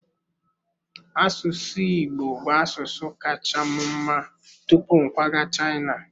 Asụsụ Igbo bụ asụsụ kacha m mma tupu m kwaga China.